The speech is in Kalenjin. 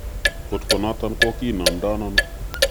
Kot konoton ko kinomdoono?